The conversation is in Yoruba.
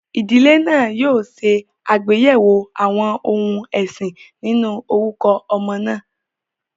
Ìdílé náà yóò ṣe àgbéyẹ̀wò àwọn ohun ẹ̀sìn nínú orúkọ ọmọ náà.